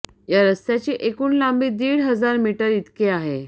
या रस्त्याची एकूण लांबी दीड हजार मीटर इतकी आहे